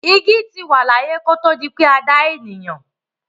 Igi ti wà láyé kí ó tó di pé a dá ènìyàn.